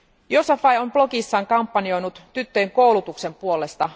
Yousafzai on blogissaan kampanjoinut tyttöjen koulutuksen puolesta.